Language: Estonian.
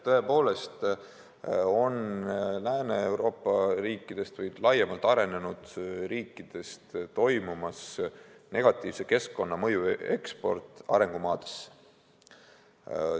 Tõepoolest on nii, et me näeme, et Lääne-Euroopa riikidest või laiemalt arenenud riikidest toimub negatiivse keskkonnamõju eksport arengumaadesse.